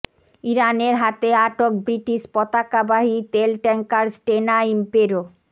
ইরানের হাতে আটক ব্রিটিশ পতাকাবাহী তেল ট্যাংকার স্টেনা ইমপেরো